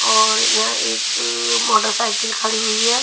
और यहां एक मोटरसाइकिल खड़ी हुई है.